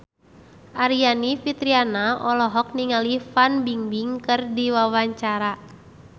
Aryani Fitriana olohok ningali Fan Bingbing keur diwawancara